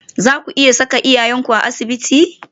Zaku iya saka iyayenku a asibitin?